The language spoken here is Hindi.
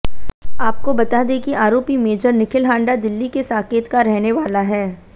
आपको बता दें कि आरोपी मेजर निखिल हांडा दिल्ली के साकेत का रहने वाला है